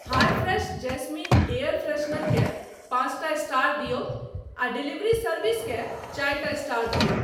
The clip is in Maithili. हाय फ्रेश जैस्मिन एयर फ्रेशनर केँ पाँचटा स्टार दियौ आ डिलीवरी सर्विसकेँ चारिटा स्टार दियौ।